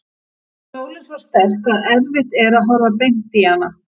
Sólin svo sterk að erfitt er að horfa beint í hana.